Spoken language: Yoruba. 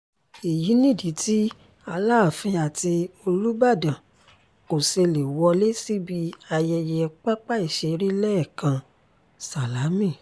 èyí nìdí tí aláàfin àti olùbàdàn kò ṣe lè wọlé síbi ayẹyẹ pápá-ìṣeré lẹ́kàn sálámí